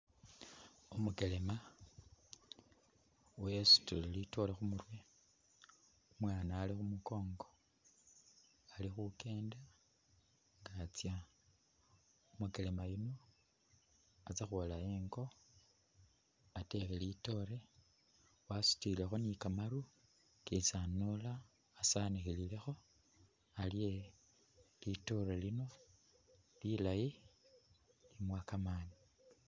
Umukelema wasutile litoore khumurwe, umwana alikhumunkongo alikhukenda nga tysa, umukelema yuuno atysakhwola ingoo atekhe litoore wasutilekho ni'kamaru kesi anoola asanikhilekho alye litoore lino lilayi limuwa kamaani